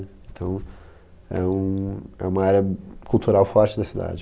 Então, é um, é uma área cultural forte da cidade.